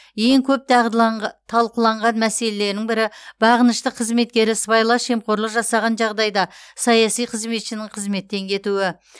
ең көп талқыланған мәселенің бірі бағынышты қызметкері сыбайлас жемқорлық жасаған жағдайда саяси қызметшінің қызметтен кетуі